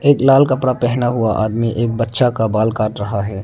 एक लाल कपड़ा पहना हुआ आदमी एक बच्चा का बाल काट रहा है।